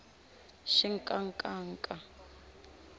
xinkankanka